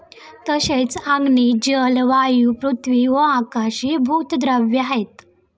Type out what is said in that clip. तसेच अग्नि, जल, वायु, पृथ्वी व आकाश हे भूत द्रव्य आहेत.